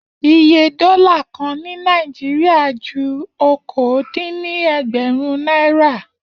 Iye dólà kan ní Naijiria ju okòó dín ní ẹgbẹ̀rún náírà